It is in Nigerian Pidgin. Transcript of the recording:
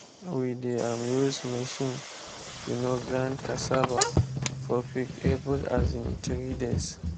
we dey um use machine um grind cassava for pig every um three days.